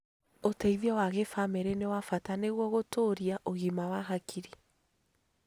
Ũteithio wa gĩbamĩrĩ nĩ wa bata nĩguo gũtũũria ũgima wa hakiri.